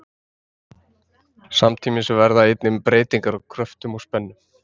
Samtímis verða einnig breytingar á kröftum og spennum.